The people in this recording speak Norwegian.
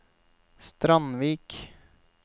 Strandvik